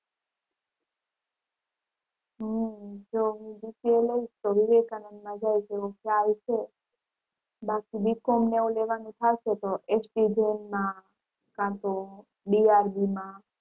હમ જો હું BCA લઈશ તો વિવેકાનંદ માં જઈશ એવો ખ્યાલ છે બાકી B. com ને એવું લેવાનું થશે તો,